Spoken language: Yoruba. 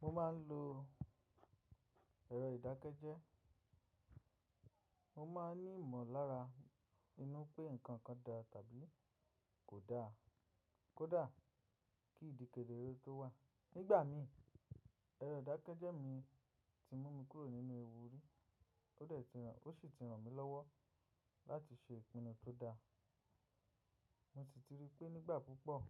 Mo máa ń lo ẹ̀rọ ìdákẹ́jẹ́. Mo máa ń ní ìmọ̀ lára inú pé nǹkan kan dá tàbí kò da, kò da kí ìdí kedere tó wà. Nígbà mi, ẹ̀rọ ìdákẹ́jẹ́ mi ti mú mi kúrò nínú ewu rí, to dẹ ti ran, ó sì ti ràn mí lọ́wọ́ láti ṣe ìpinnu tó dáa. Mo sì ti rí pé nígbà púpọ̀